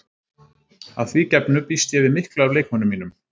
Að því gefnu býst ég við miklu af leikmönnum mínum.